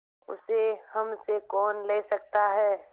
उसे हमसे कौन ले सकता है